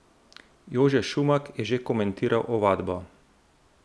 Jože Šumak je že komentiral ovadbo.